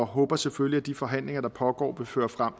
håber selvfølgelig at de forhandlinger der pågår vil føre frem